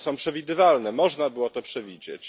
Są one przewidywalne, można było to przewidzieć.